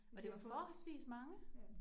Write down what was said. Og det var forholdsvis mange